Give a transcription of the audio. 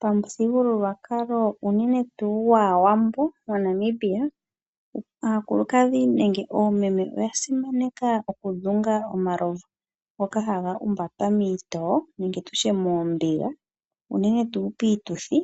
Pamuthigululwakala unene tuu gwaawambo moNamibia aakulukadhi nenge oomeme oya simaneka okudhunga omalovu ngoka haga humbwatwa wiiyuma nenge moombiga unene tuu piituthi